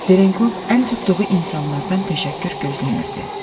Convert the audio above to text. Ditenkov əl tutduğu insanlardan təşəkkür gözləmirdi.